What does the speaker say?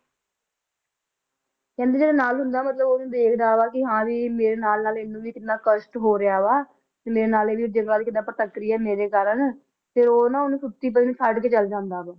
ਕਹਿੰਦੇ ਜਿਹੜਾ ਨਲ ਹੁੰਦਾ ਮਤਲਬ ਉਹ ਉਹਨੂੰ ਦੇਖਦਾ ਵਾ ਕੀ ਹਾਂ ਵੀ ਮੇਰੇ ਨਾਲ ਨਾਲ ਇਹਨੂੰ ਵੀ ਕਿੰਨਾ ਕਸ਼ਟ ਹੋ ਰਿਹਾ ਵਾ ਤੇ ਮੇਰੇ ਨਾਲ ਹੀ ਕਿਦਾਂ ਭਟਕ ਰਹੀ ਆ ਮੇਰੇ ਕਾਰਨ ਤੇ ਉਹ ਨਾ ਉਹਨੂੰ ਸੁੱਤੀ ਪਈ ਨੂੰ ਛੱਡਕੇ ਚਲ ਜਾਂਦਾ ਵਾ